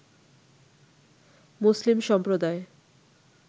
মুসলিম সম্প্রদায়